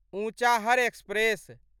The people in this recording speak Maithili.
ऊँचाहर एक्सप्रेस